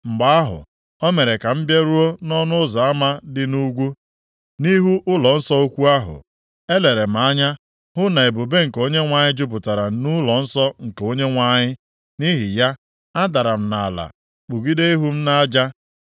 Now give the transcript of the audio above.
Mgbe ahụ, o mere ka m bịaruo nʼọnụ ụzọ ama dị nʼugwu, nʼihu ụlọnsọ ukwu ahụ. Elere m anya hụ na ebube nke Onyenwe anyị jupụtara nʼụlọnsọ nke Onyenwe anyị. Nʼihi ya, adara m nʼala kpugide ihu m nʼaja.